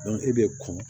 e bɛ kɔn